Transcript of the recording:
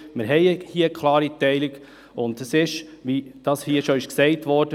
Wir haben eine klare Teilung, und es ist, wie dies hier schon gesagt wurde.